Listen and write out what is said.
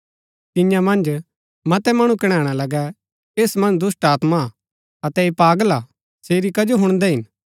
तियां मन्ज मतै मणु कणैणा लगै ऐस मन्ज दुष्‍टात्मा हा अतै ऐह पागल हा सेरी कजो हुणदै हिन